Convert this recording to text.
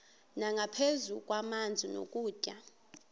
nangaphezu kwamanzi nokutya